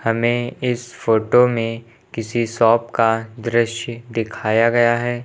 हमें इस फोटो में किसी शॉप का दृश्य दिखाया गया है।